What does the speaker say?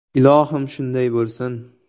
Ilohim, shunday bo‘lsin!